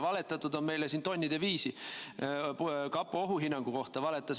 Meile on siin valetatud tonnide viisi.